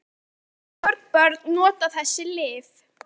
En hversu mörg börn nota þessi lyf?